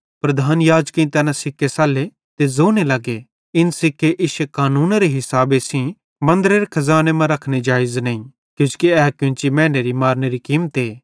प्रधान याजकेईं तैना सिक्के सल्ले ते ज़ोने लग्गे इन सिक्के इश्शे कानूनेरे मुताबिक मन्दरेरे खज़ाने मां रखने जेइज़ नईं किजोकि ए कोन्ची मैनू मारनेरी कीमते